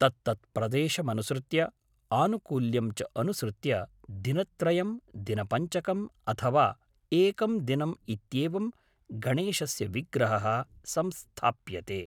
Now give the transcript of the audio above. तत्तत्प्रदेशमनुसृत्य आनुकूल्यं च अनुसृत्य दिनत्रयं दिनपञ्चकम् अथवा एकं दिनम् इत्येवं गणेशस्य विग्रहः संस्थाप्यते